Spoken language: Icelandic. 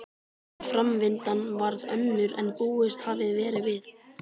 En framvindan varð önnur en búist hafði verið við.